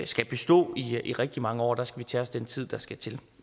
skal bestå i rigtig mange år og der skal vi tage os den tid der skal til